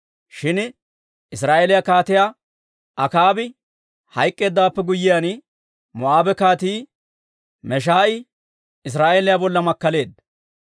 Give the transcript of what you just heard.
Shin Israa'eeliyaa Kaatiyaa Akaabi hayk'k'eeddawaappe guyyiyaan, Moo'aabe Kaatii Meesha'i Israa'eeliyaa bolla makkaleedda.